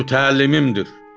Mənim mütəllimimdir.